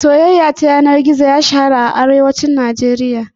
Soyaya ta yana gizo bai shahara sosai ba a Arewacin Najeriya